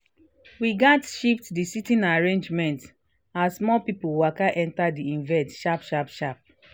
we gats shift the sitting arrangement as more people waka enter the event sharp sharp sharp